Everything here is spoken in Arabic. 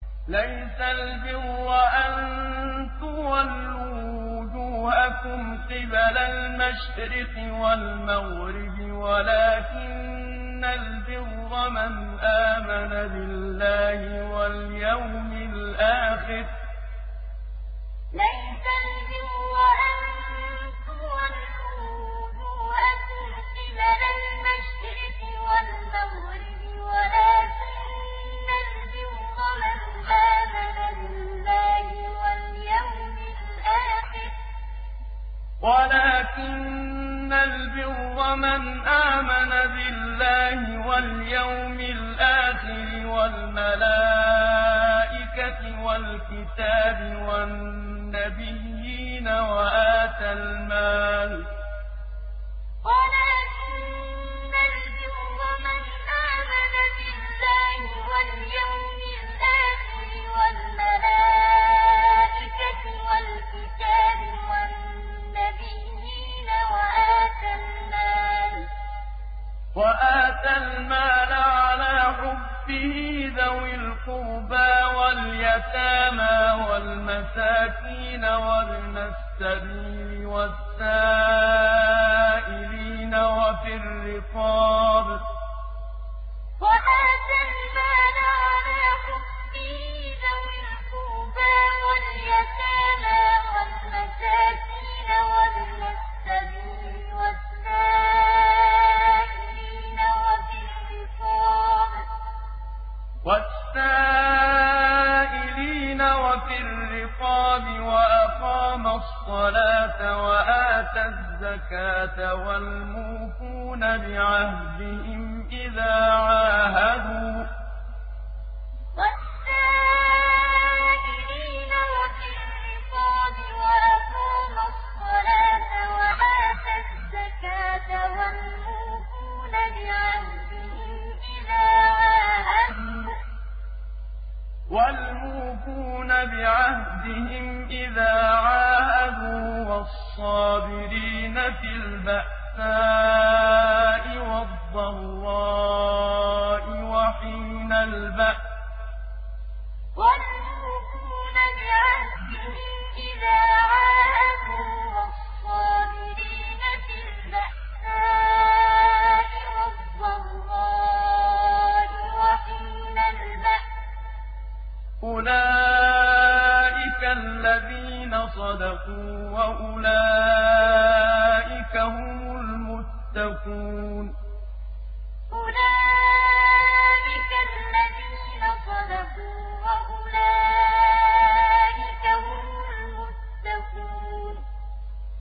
۞ لَّيْسَ الْبِرَّ أَن تُوَلُّوا وُجُوهَكُمْ قِبَلَ الْمَشْرِقِ وَالْمَغْرِبِ وَلَٰكِنَّ الْبِرَّ مَنْ آمَنَ بِاللَّهِ وَالْيَوْمِ الْآخِرِ وَالْمَلَائِكَةِ وَالْكِتَابِ وَالنَّبِيِّينَ وَآتَى الْمَالَ عَلَىٰ حُبِّهِ ذَوِي الْقُرْبَىٰ وَالْيَتَامَىٰ وَالْمَسَاكِينَ وَابْنَ السَّبِيلِ وَالسَّائِلِينَ وَفِي الرِّقَابِ وَأَقَامَ الصَّلَاةَ وَآتَى الزَّكَاةَ وَالْمُوفُونَ بِعَهْدِهِمْ إِذَا عَاهَدُوا ۖ وَالصَّابِرِينَ فِي الْبَأْسَاءِ وَالضَّرَّاءِ وَحِينَ الْبَأْسِ ۗ أُولَٰئِكَ الَّذِينَ صَدَقُوا ۖ وَأُولَٰئِكَ هُمُ الْمُتَّقُونَ ۞ لَّيْسَ الْبِرَّ أَن تُوَلُّوا وُجُوهَكُمْ قِبَلَ الْمَشْرِقِ وَالْمَغْرِبِ وَلَٰكِنَّ الْبِرَّ مَنْ آمَنَ بِاللَّهِ وَالْيَوْمِ الْآخِرِ وَالْمَلَائِكَةِ وَالْكِتَابِ وَالنَّبِيِّينَ وَآتَى الْمَالَ عَلَىٰ حُبِّهِ ذَوِي الْقُرْبَىٰ وَالْيَتَامَىٰ وَالْمَسَاكِينَ وَابْنَ السَّبِيلِ وَالسَّائِلِينَ وَفِي الرِّقَابِ وَأَقَامَ الصَّلَاةَ وَآتَى الزَّكَاةَ وَالْمُوفُونَ بِعَهْدِهِمْ إِذَا عَاهَدُوا ۖ وَالصَّابِرِينَ فِي الْبَأْسَاءِ وَالضَّرَّاءِ وَحِينَ الْبَأْسِ ۗ أُولَٰئِكَ الَّذِينَ صَدَقُوا ۖ وَأُولَٰئِكَ هُمُ الْمُتَّقُونَ